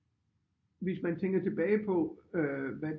Hvis man tænker tilbage på hvad